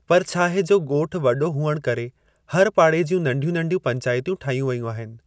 पर छाहे जो ॻोठु वॾो हुअण करे हर पाड़े जूं नंढियूं नंढियूं पंचाइतयूं ठाहियूं वेयूं आहिनि।